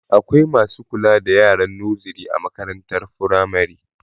Akwai masu kula da yaran noziri a makarantar firamare